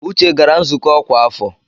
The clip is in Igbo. Uche gara nzukọ ọkwa afọ.